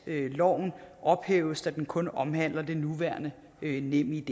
loven ophæves da den kun omhandler det nuværende nemid